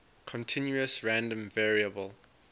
continuous random variable